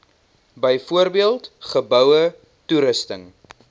byvoorbeeld geboue toerusting